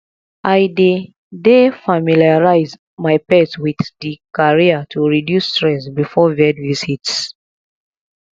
i dey dey familiarize my pet with di carrier to reduce stress before vet visits